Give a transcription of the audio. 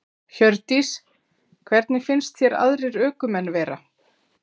Hjördís: Hvernig finnst þér aðrir ökumenn vera?